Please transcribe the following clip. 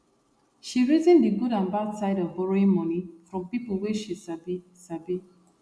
she reason the good and bad side of borrowing money from people wey she sabi sabi